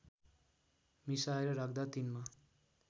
मिसाएर राख्दा तिनमा